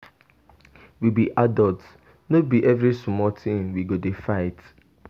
We be adults, no be every small thing we go dey fight.